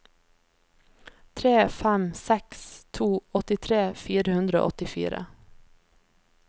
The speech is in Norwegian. tre fem seks to åttitre fire hundre og åttifire